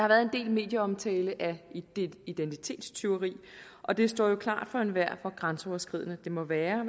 været en del medieomtale af identitetstyveri og det står jo klart for enhver hvor grænseoverskridende det må være